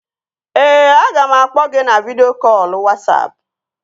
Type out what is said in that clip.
Ee, aga m akpọ gị na vidịo kọlụ Wasapụ